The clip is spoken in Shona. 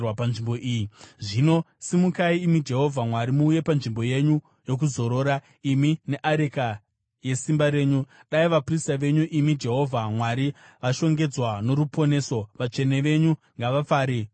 “Zvino simukai imi Jehovha Mwari, muuye panzvimbo yenyu yokuzorora, imi neareka yesimba renyu. Dai vaprista venyu imi Jehovha Mwari vashongedzwa noruponeso. Vatsvene venyu ngavafare mukunaka kwenyu.